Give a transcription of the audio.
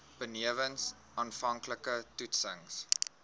benewens aanvanklike toetsings